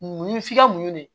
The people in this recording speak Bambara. Mun f'i ka munumunu de